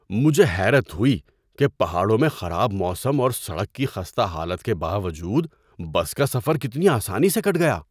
مجھے حیرت ہوئی کہ پہاڑوں میں خراب موسم اور سڑک کی خستہ حالت کے باوجود بس کا سفر کتنا آسانی سے کٹ گیا!